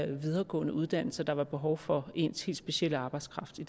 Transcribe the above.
videregående uddannelse og der var behov for ens helt specielle arbejdskraft i